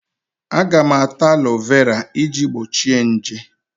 Aga m ata alọvera iji gbochie nje.